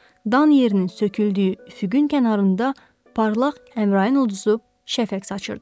Dan yerinin söküldüyü üfüqün kənarında parlaq Əmrain ulduzu şəfəq saçır.